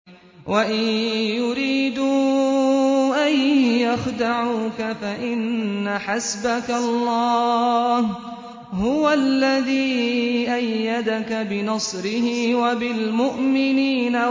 وَإِن يُرِيدُوا أَن يَخْدَعُوكَ فَإِنَّ حَسْبَكَ اللَّهُ ۚ هُوَ الَّذِي أَيَّدَكَ بِنَصْرِهِ وَبِالْمُؤْمِنِينَ